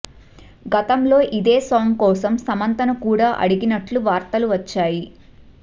గతంలో ఇదే సాంగ్ కోసం సమంతను కూడా అడిగినట్లు వార్తలు వచ్చాయి